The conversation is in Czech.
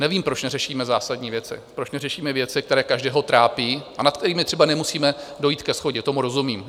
Nevím, proč neřešíme zásadní věci, proč neřešíme věci, které každého trápí a nad kterými třeba nemusíme dojít ke shodě, tomu rozumím.